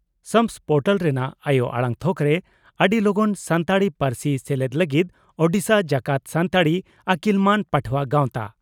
SAMS portal ᱨᱮᱱᱟᱜ ᱟᱭᱚ ᱟᱲᱟᱝ ᱛᱷᱚᱠᱨᱮ ᱟᱹᱰᱤ ᱞᱚᱜᱚᱱ ᱥᱟᱱᱛᱟᱲᱤ ᱯᱟᱹᱨᱥᱤ ᱥᱮᱞᱮᱫ ᱞᱟᱹᱜᱤᱫ ᱳᱰᱤᱥᱟ ᱡᱟᱠᱟᱛ ᱥᱟᱱᱛᱟᱲᱤ ᱟᱹᱠᱤᱞᱢᱟᱱ ᱯᱟᱹᱴᱷᱣᱟᱹ ᱜᱟᱣᱛᱟ